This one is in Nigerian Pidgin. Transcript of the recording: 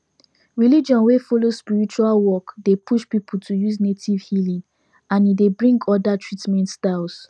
religion wey follow spiritual work dey push people to use native healing and e dey bring other treatment styles